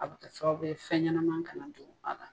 A bɛ kɛ sababu ye fɛn ɲɛnama ka na don a la.